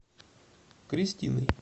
кристиной